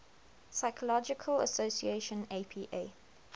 psychological association apa